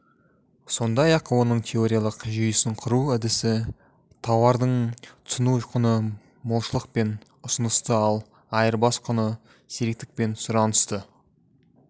сондай-ақ оның теориялық жүйесін құру әдісі тауардың тұтыну құны молшылық пен ұсынысты ал айырбас құны сиректік пен сұранысты